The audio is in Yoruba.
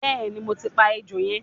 bẹẹni mo ti pa ejò yẹn